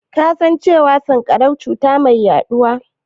Ka san cewa sanƙarau cuta ce mai yaɗuwa?